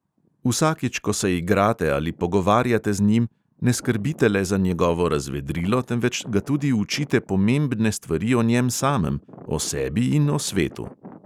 Vsakič, ko se igrate ali pogovarjate z njim, ne skrbite le za njegovo razvedrilo, temveč ga tudi učite pomembne stvari o njem samem, o sebi in o svetu.